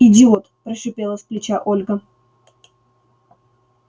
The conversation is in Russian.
идиот прошипела с плеча ольга